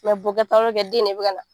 Mɛ bokɛ tɛ den de bɛ ka na.